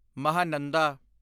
Mahananda